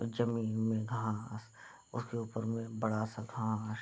जमीन में घास उसके उपर में बड़ा सा घास ।